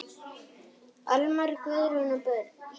Almar, Guðrún og börn.